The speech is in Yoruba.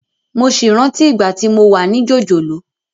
Mo sì rántí ìgbà tí mo wà ní jòjòló